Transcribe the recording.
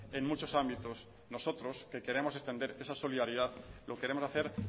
en muchos ámbitos nosotros que queremos extender esa solidaridad lo queremos hacer